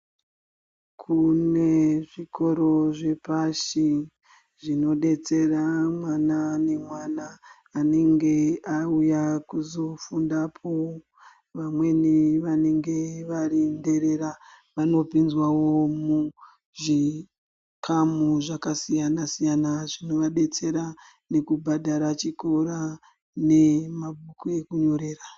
Kune zvikoro zvepashi zvinodetsera mwana nemwana unenge auya kuzofundapo. Vamweni vanenge varinherera vanopinzwawo muzvikamu zvakasiyana-siyana zvinovadetsera nekubhadhara chikora nemabhuku ekunyorera.